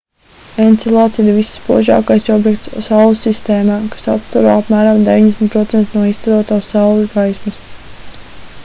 encelads ir visspožākais objekts saules sistēmā kas atstaro apmēram 90% no izstarotās saules gaismas